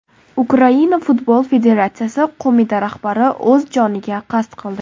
Ukraina Futbol Federatsiyasi qo‘mita rahbari o‘z joniga qasd qildi.